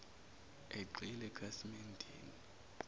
egxile ekhasimen deni